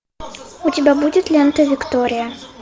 у тебя будет лента виктория